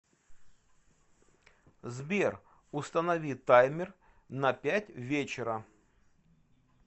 сбер установи таймер на пять вечера